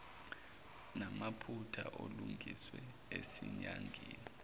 namaphutha alungiswe esinyangeni